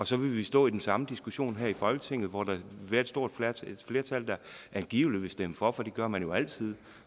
så vil vi stå i den samme diskussion her i folketinget hvor der vil være et flertal der angiveligt vil stemme for for det gør man jo altid